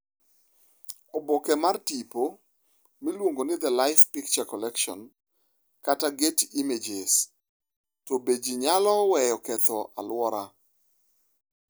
Oboke mar tipo, miluongo ni The LIFE Picture Collection kata Getty Images To be ji nyalo weyo ketho aluora?